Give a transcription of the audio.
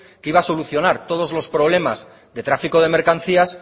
que iba a solucionar todos los problemas de tráfico de mercancías